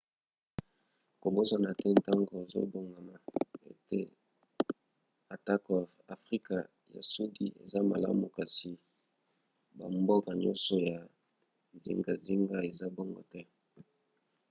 kobosana te ntango ozobongama ete atako afrika ya sudi eza malamu kasi bamboka nyonso ya zingazinga eza bongo te